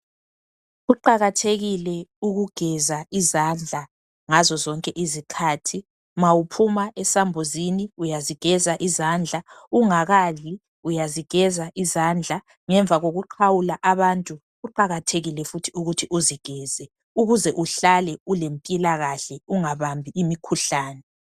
Kuqakathekile ukugeza uzandla ngazo zonke izikhathi ma uphuma esambuzini uyazigeza izandla ungakadli uyazigeza izindla ngemva kokuxhawula abantu kuqakathekile ukuthi uzigeze ukuze uhlale lempilakahle ungabambi imikhuhlane